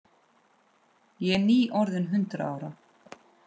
Ég er nýorðin hundrað ára.